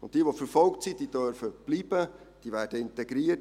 Jene, die verfolgt sind, dürfen bleiben und werden integriert.